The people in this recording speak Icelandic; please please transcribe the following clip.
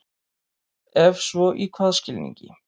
Ef svo í hvaða skilningi?